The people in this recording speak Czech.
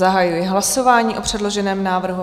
Zahajuji hlasování o předloženém návrhu.